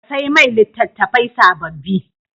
Ka sai mai litattafai sababbi.